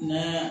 Ne